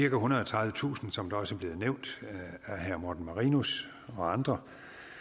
ethundrede og tredivetusind som det også er blevet nævnt af herre morten marinus og andre